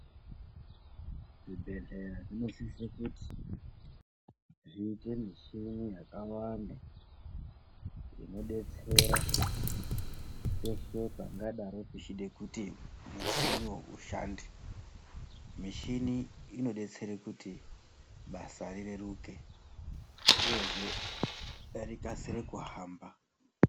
Zvibhehleya zvinosise kuti zviite michini yakawanda inodetsera peshe pangadaro pechida kuti michina ishande ,michini inodetsere kuti basa rireruke uyezve rikasire kuhamba.